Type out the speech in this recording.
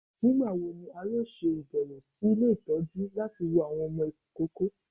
Nigbawo ni a yoo ṣe abẹwo si ile itọju ntọju lati wo awọn ọmọ ikoko?